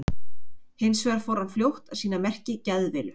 Hins vegar fór hann fljótt að sýna merki geðveilu.